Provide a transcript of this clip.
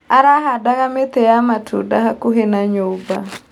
Arahandaga mĩtĩ ya matunda hakuhĩ na nyũmba.